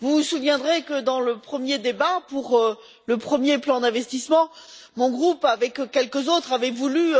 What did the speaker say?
Vous vous souviendrez que, dans le premier débat, pour le premier plan d'investissement, mon groupe, avec quelques autres, avait voulu